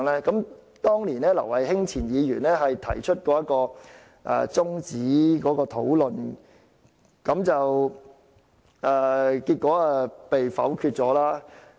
當時前立法會議員劉慧卿提出中止討論，結果被否決。